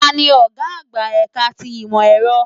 Tani ọ̀gá àgbà ẹ̀ka ti ìmọ̀ ẹ̀rọ?